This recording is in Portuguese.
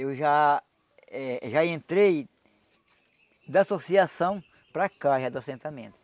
Eu já eh já entrei da associação para cá, já do assentamento.